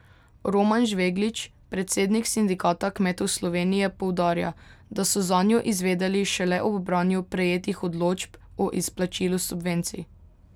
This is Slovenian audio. Roman Žveglič, predsednik Sindikata kmetov Slovenije, poudarja, da so zanjo izvedeli šele ob branju prejetih odločb o izplačilu subvencij.